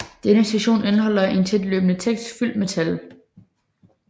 Denne sektion indeholder en tæt løbende tekst fyldt med tal